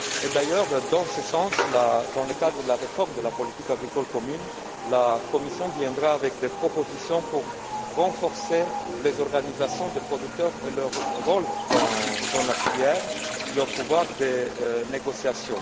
D'ailleurs, dans ce sens, dans le cadre de la réforme de la politique agricole commune, la Commission viendra avec des propositions pour renforcer les organisations de producteurs, leur rôle dans la filière et leur pouvoir de négociation.